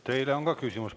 Teile on ka küsimusi.